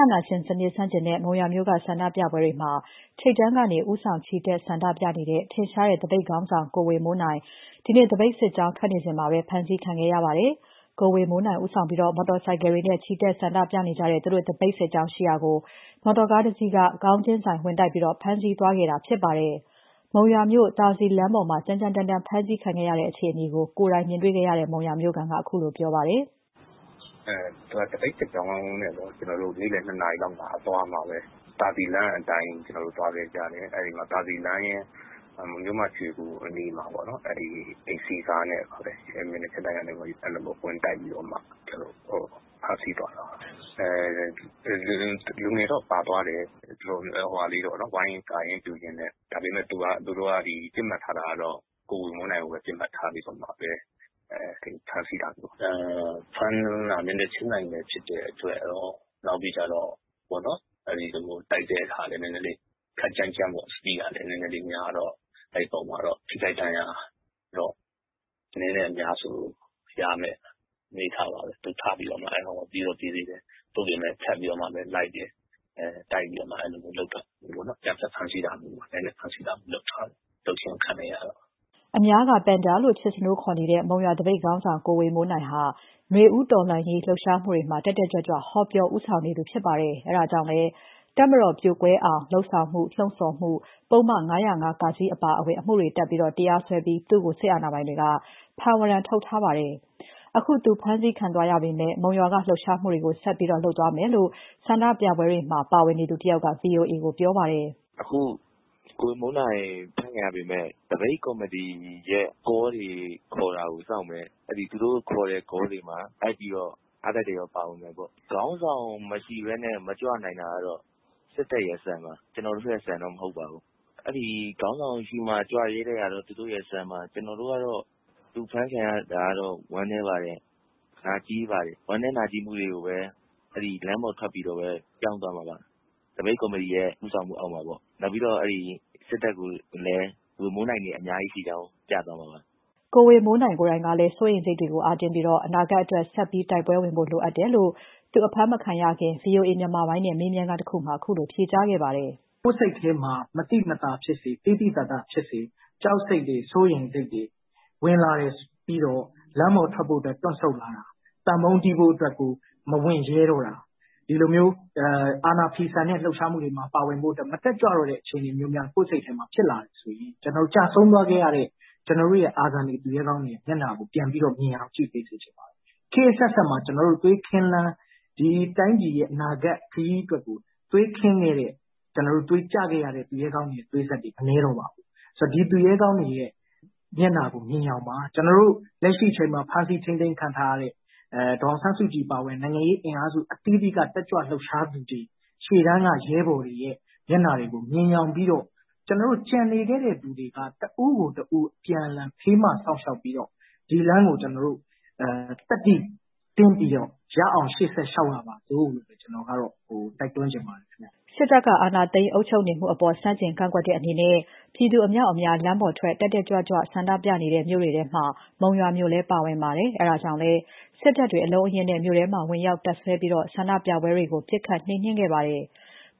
ာဏာရှင်စနစ်ဆန့်ကျင်တဲ့ မုံရွာမြို့က ဆန္ဒပြပွဲတွေမှာ ထိပ်တန်းကနေ ဦးဆောင် ချီတက် ဆန္ဒပြနေတဲ့ ထင်ရှားတဲ့ သပိတ်ခေါင်းဆောင် ကိုဝေမိုးနိုင် ဒီနေ့ သပိတ်စစ်ကြောင်း ထွက်နေစဉ်မှာပဲ ဖမ်းဆီးခံခဲ့ရပါတယ်။ ကိုဝေမိုးနိုင်ဦးဆောင်ပြီး မော်တော်ဆိုင်ကယ်တွေနဲ့ ချီတက်ဆန္ဒပြနေကြတဲ့ သူတို့သပိတ်စစ်ကြောင်းရှိရာကို မော်တော်ကား တစီးက ခေါင်းချင်းဆိုင် ဝင်တိုက်ပြီး ဖမ်းဆီးသွားတာဖြစ်ပါတယ်။ မုံရွာမြို့ သာစည်လမ်းပေါ်မှာ ကြမ်းကြမ်းတမ်းတမ်း ဖမ်းဆီးခံရတဲ့ အခြေအနေကို ကိုယ်တိုင်မြင်တွေ့ခဲ့တဲ့ မုံရွာမြို့ခံက ခုလိုပြောပါတယ်။ “သပိတ်စစ်ကြောင်းအသွားမှာပဲ သာစည်လမ်းအတိုင်းသွားခဲ့ကြတယ်။ အဲမှာ သာစည်လမ်းနဲ့ မြို့မ ရွှေဂူအနီးမှာ အိမ်စီးကားနဲ့ပဲ မျက်နှာချင်းဆိုင်ဝင်တိုက်ပြီး ဖမ်းဆီးသွားတာပါ။ လူတွေတော့ပါတယ်၊ ဝိုင်းကာရင်းပြုရင်းနဲ့။ ဒါပေမယ့် သူတို့ကပစ်မှတ်ထားတာ ကိုဝေမိုးနိုင်ကိုပဲ ဖမ်းဆီးပစ်မှတ်ထားတာပါ။ ဖမ်းတာ မျက်နှာချင်းဆိုင်ဖြစ်တယ်။ တိုက်တာလည်း ခပ်ကြမ်းကြမ်းပေါ့၊ Speed ကလည်း နဲနဲလေးများတော့ အဲဒီပေါ်မှာတော့ ထိခိုက်ဒဏ်ရာရတော့ အနည်းနဲ့အများဆိုသလို များမယ့် အနေအထားပါပဲ။ သူထပြီးတော့မှ ပြေးတော့ ပြေးသေးတယ်။ သို့ပေမယ့် ထပ်ပြီးတော့လိုက်တယ်။ တိုက်ပြီးတော့မှ အဲဒီလိုမျိုး ရိုက်နှက်ဖမ်းဆီးတာမျိုး အကြမ်းဖက်ဖမ်းဆီးတာမျိုးလုပ်ခြင်း ခံလိုက်ရတယ်။” အများက ပန်ဒါလေးလို့ ချစ်စနိုး တင်စားခေါ်ဆိုကြတဲ့ မုံရွာသပိတ်ခေါင်းဆောင် ကိုဝေမိုးနိုင်ဟာ နွေဦးတော်လှန်ရေး လှုပ်ရှားမှုတွေမှာ တက်တက်ကြွကြွ ဟောပြော ဦးဆောင် ချီတက်နေသူဖြစ်ပါတယ်။ အဲဒါကြောင့်လည်း တပ်မတော်ပြိုကွဲအောင်လုပ်ဆောင်မှု ပုဒ်မ ၅၀၅ (က) အပါအဝင် ပုဒ်မ အတော်များများတပ်ပြီး သူ့ကို စစ်အာဏာပိုင်တွေက ဖမ်းဝရမ်းထုတ်ထားပါတယ်။ အခု သူ အဖမ်းခံသွားရပေမဲ့ မုံရွာက လှုပ်ရှားမှုတွေကို ဆက်ပြီး လုပ်သွားမယ်လို့ ဆန္ဒပြပွဲတွေမှာ ပါဝင်သူတယောက်က ဗွီအိုအေကို ပြောပါတယ်။ "ကိုဝေမိုးနိုင် ဖမ်းခံရပေမယ့် သပိတ်ကော်မတီရဲ့ကောတွေ ခေါ်တာစောင့်မယ်။ သူတို့ခေါ်တဲ့ ကောတွေမှာလိုက်ပြီးအားတက်သရောပါမယ်ပေါ့။ ခေါင်းဆောင်မရှိဘဲ မကြွနိုင်တာစစ်တပ် စံပါ၊ ကျနော်တို့စံတော့မဟုတ်ပါဘူး။ ခေါင်းဆောင်ရှိမှကြွရဲတဲ့ စံကသူတို့စံပါ ကျနော်တို့ကတော့ သူဖမ်းခံရတာ ဝမ်းနည်းပါတယ်။ နာကျဉ်းပါတယ်။ ဝမ်းနည်းနာကျဉ်းမှုတွေကို လမ်းပေါ်ထွက် ပြောင်းမှာပါ။ သပိတ်ကော်မတီရဲ့ ဦးဆောင်မှုအောက်မှာပေါ့ နောက်ပြီးတော့ စစ်တပ်ကိုလည်း ဝေမိုးနိုင်တွေ အများကြီးရှိတာပြမှာပါ" ကိုဝေမိုးနိုင်ကိုယ်တိုင်ကလည်း စိုးရိမ်စိတ်တွေကို အားတင်းပြီး အနာဂါတ်အတွက် ဆက်တိုက်ပွဲဝင်ဖို့လိုတယ်လို့ သူအဖမ်းမခံရခင် ဗွီအိုအေမြန်မာပိုင်းနဲ့ ဆွေးနွေးခန်းမှာ ခုလို ဖြေကြားခဲ့ပါတယ်။ "ကိုယ်စိတ်ထဲမှာ မသိမသာဖြစ်စေ သိသိသာသာဖြစ်စေ ဝင်လာတယ်ဆိုရင် လမ်းပေါ်ထွက်ဖို့အတွက် တွန့်ဆုတ်လာတာ၊ သံပုံးတီးဖို့မဝံရဲတော့တာ၊ ဒီလိုမျိုးအာဏာဖိဆန်ရေးလုပ်ဖို့ မတက်ကြွတဲ့အခြေအနေဖြစ်လာပြီဆိုရင် ကျဆုံးသွားခဲ့တဲ့ ကျနော်တို့ရဲ့ သူရဲကောင်းတွေမျက်နှာကို မြင်အောင်ကြည့်ပေးစေချင်တယ်။ ခောတ်အဆက်ဆက်မှာ သွေးခင်းလမ်း သွေးကျခဲ့တဲ့ သူရဲကောင်းတွေ မနည်းတော့ပါဘူး။ ဒီသူရဲကောင်းတွေမျက်နှာကိုမြင်ယောင်ပါ။ လက်ရှိထိန်းသိမ်းခံနေရတဲ့ ဒေါ်အောင်ဆန်းစုကြည်အပါအဝင် နိုင်ငံရေးအင်အားစုအသီးသီးက တက်ကြွလှုပ်ရှားသူတွေ ရှေ့တန်းက ရဲဘော်တွေမျက်နှာတွေကို မြင်ယောင်ပြီးတော့ ကျနော်တို့ ကျန်နေသေးတဲ့သူတွေက တဦးကိုတဦး အပြန်အလှန် ဖေးမစောင့်ရှောက်ပြီးတော့ ဒီလမ်းကို ကျနော်တို့ သတ္တိတင်းပြီးတော့ ရအောင်ရှေ့ဆက်လျှောက်ကြပါစို့လို့ ကျနော်က တိုက်တွန်းချင်ပါတယ်။ " စစ်တပ်က အာဏာသိမ်းအုပ်ချုပ်နေမှုအပေါ် ဆန့်ကျင်ကန့်ကွက်တဲ့အနေနဲ့ ပြည်သူအမြောက်အများ လမ်းပေါ်ထွက် တက်တက်ကြွကြွ ဆန္ဒပြနေတဲ့မြို့တွေထဲမှာ မုံရွာမြို့လည်း ပါဝင်ပါတယ်။ အဲဒါကြောင့်လည်း စစ်တပ်တွေ အလုံးအရင်းနဲ့ မြို့ထဲမှာ ဝင်ရောက် တပ်စွဲပြီး ဆန္ဒပြပွဲတွေကို ပစ်ခတ် နှိမ်နှင်းခဲ့ပါတယ်။